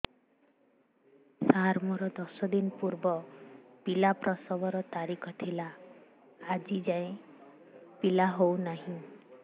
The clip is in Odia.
ସାର ମୋର ଦଶ ଦିନ ପୂର୍ବ ପିଲା ପ୍ରସଵ ର ତାରିଖ ଥିଲା ଆଜି ଯାଇଁ ପିଲା ହଉ ନାହିଁ